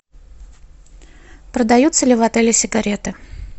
продаются ли в отеле сигареты